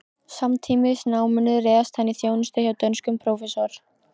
Samtímis náminu réðst hann í þjónustu hjá dönskum prófessor